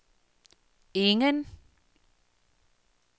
ingen